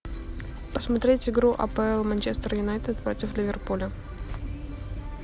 посмотреть игру апл манчестер юнайтед против ливерпуля